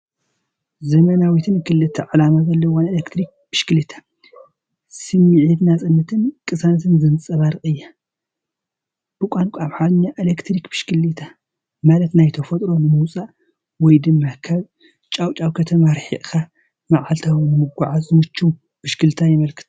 ዘመናዊትን ክልተ ዕላማ ዘለዋን ኤሌክትሪክ ብሽክለታ፡ ስምዒት ናጽነትን ቅሳነትን ዘንጸባርቕ እያ። ብቋንቋ ኣምሓርኛ "ኤሌክትሪክ ብሽክለታ" ማለት ናብ ተፈጥሮ ንምውፃእ ወይ ድማ ካብ ጫውጫውታ ከተማ ርሒቕካ መዓልታዊ ንመጓዓዝያ ዝምችው ብሽክለታ የመልክት።